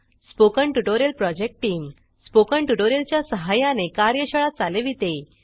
spoken tutorial project team spoken tutorial च्या सहाय्याने कार्यशाळा चालविते